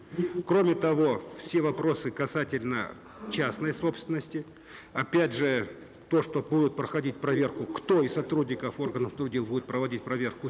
кроме того все вопросы касательно частной собственности опять же то что будут проходить проверку кто из сотрудников органов дел будет проводить проверку